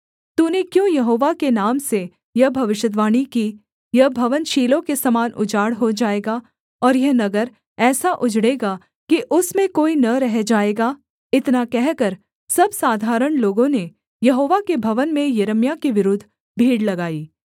तूने क्यों यहोवा के नाम से यह भविष्यद्वाणी की यह भवन शीलो के समान उजाड़ हो जाएगा और यह नगर ऐसा उजड़ेगा कि उसमें कोई न रह जाएगा इतना कहकर सब साधारण लोगों ने यहोवा के भवन में यिर्मयाह के विरुद्ध भीड़ लगाई